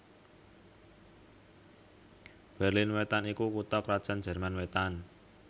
Berlin Wétan iku kutha krajan Jerman Wétan